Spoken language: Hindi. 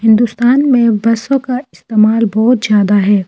हिंदुस्तान में बसों का इस्तेमाल बहुत ज्यादा है।